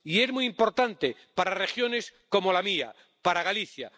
Y es muy importante para regiones como la mía, para Galicia.